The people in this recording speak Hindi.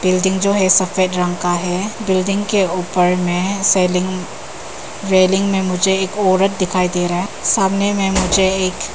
बिल्डिंग जो है सफेद रंग का है बिल्डिंग के ऊपर में सेलिंग रेलिंग में मुझे एक औरत दिखाई दे रहा है सामने में मुझे एक--